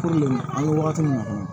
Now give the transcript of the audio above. an bɛ wagati min na kɔni